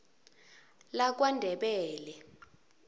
lakwandebele